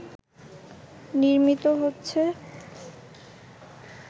নির্মিত হচ্ছে